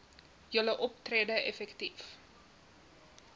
julle optrede effektief